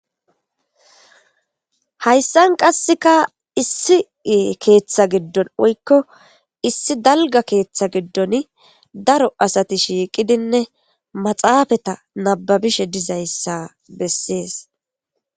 Hayssan qassika issi keetha giddon woyko issi dalgga keeththa giddoni daro asati shiiqidinne maxaafeta nabbabishe dizayssa besees.